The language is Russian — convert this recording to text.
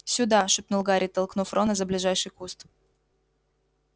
сюда шепнул гарри толкнув рона за ближайший куст